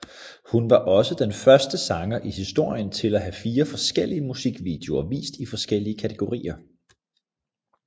Hun var også den første sanger i historien til at have fire forskellige musikvideoer vist i forskellige kategorier